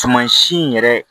Tuma si in yɛrɛ